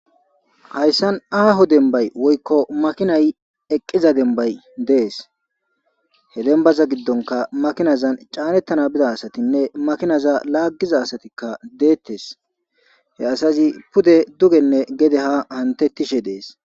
Hayssan aaho dembay woykko makinay eqqiza dembay dees he dembaza giddonka makinazan caanettana bida asatinne makinaza laaggiza asatikka deettes he asazi pude dugenne gede ha hantettishe dees.